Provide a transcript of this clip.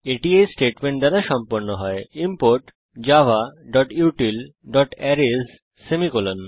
এটি এই স্টেটমেন্ট দ্বারা সম্পন্ন হয় ইমপোর্ট javautilঅ্যারেস সেমিকোলন